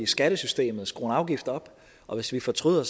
skattesystemet skrue en afgift op og hvis vi fortryder